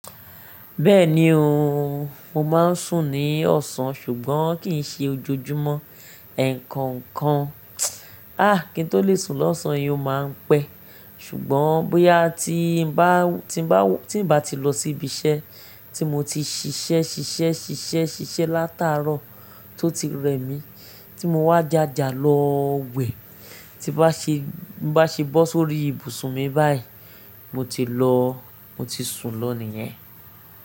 Bẹ́ẹ̀ni o, mo máa ń sùn ní ọ̀sán ṣùgbọ́n kì í ṣe ojoojúmọ́. Ẹ̀ẹ̀kọ̀kan, ah kí n tó lè sùn lọ́sàn-án ni ó máa ń pẹ́ ṣùgbọ́n bóyá tí n bá, tí n ba, tí n bá ti lọ sí ibi iṣẹ́ tí mo ti ṣiṣẹ́, ṣiṣẹ́, ṣiṣẹ́, ṣiṣẹ́ látàárọ̀ tó ti rẹ mí tí mo wá jàjà lọ wẹ̀ tí bá ṣe, bá ṣe bọ́ sórí ibùsùn mi báyìí mo ti lọ, mo ti sùn lọ nìyẹn.